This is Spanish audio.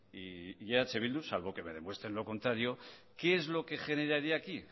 y eh bildu salvo que me demuestran lo contrario qué es lo que generaría aquí